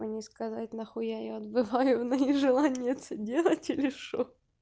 мне сказать нахуя я её отбываю но не желание это делать ха-ха или что